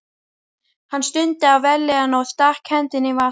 Hann stundi af vellíðan og stakk hendinni í vasann.